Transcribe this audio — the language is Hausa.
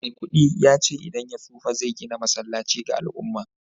maikudi ya ce idan ya tsufa zai gina masallaci ga al'umma